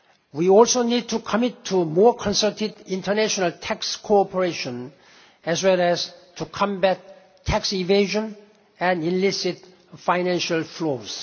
We also need to commit to more concerted international tax cooperation, as well as to combat tax evasion and illicit financial